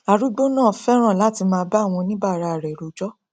arúgbó náà fẹràn láti máà bá àwọn onibaara rẹ rojọ